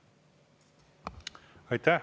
Aitäh!